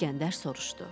İskəndər soruştu: